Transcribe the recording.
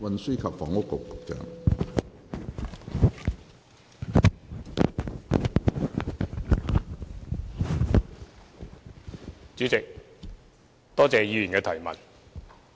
主席，多謝議員的質詢。